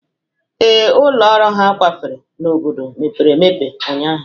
Ee, ụlọ ọrụ ha kwafere n'obodo mepere emepe ụnyaahụ